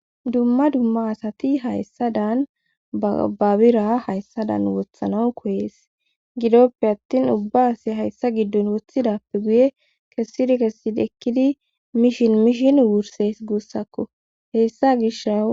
Dumma dumma asati hayssa dan babira hayssadan wothanaw koyees gidoppe attin ubba asi hayssa giddon wothidappe guye kessidi kessid ekkidi mishin mishin wurses guussakko hessa gishau.